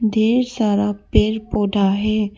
ढेर सारा पेड़ पौधा है।